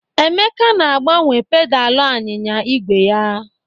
Emeka na-agbanwe pedalị anyịnya igwe ya.